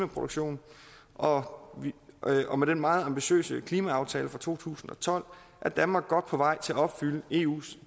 produktion og og med den meget ambitiøse klimaaftale fra to tusind og tolv er danmark godt på vej til at opfylde eus